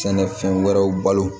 Sɛnɛfɛn wɛrɛw balo